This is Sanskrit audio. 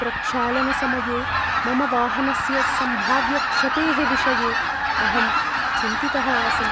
प्रक्षालनसमये मम वाहनस्य सम्भाव्यक्षतेः विषये अहं चिन्तितः आसम्।